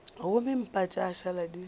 gomme mpa tša šala di